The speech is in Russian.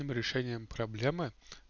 там решением проблемы